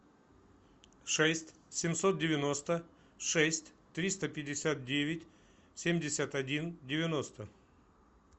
шесть семьсот девяносто шесть триста пятьдесят девять семьдесят один девяносто